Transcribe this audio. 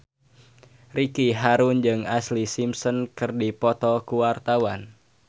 Ricky Harun jeung Ashlee Simpson keur dipoto ku wartawan